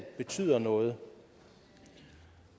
betyder noget